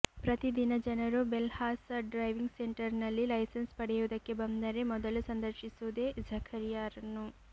ಪ್ರತಿದಿನ ಜನರು Belhasa driving ಸೆಂಟರ್ನಲ್ಲಿ ಲೈಸನ್ಸ್ ಪಡೆಯುದಕ್ಕೆ ಬಂದರೆ ಮೊದಲು ಸಂದರ್ಶಿಸುವುದೇ ಝಕರಿಯಾರನ್ನು